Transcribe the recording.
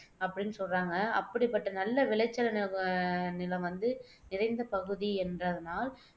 அப்படின்னு சொல்றாங்க அப்படிப்பட்ட நல்ல விளைச்சல் நிலம் வந்து நிறைந்த பகுதி என்பதனால்